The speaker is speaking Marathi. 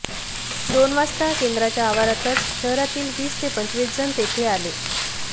दोन वाजता केंद्राच्या आवारातच शहरातील वीस ते पंचवीस जण तेथे आले